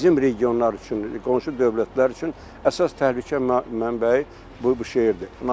Bizim regionlar üçün, qonşu dövlətlər üçün əsas təhlükə mənbəyi bu bu şeirdir.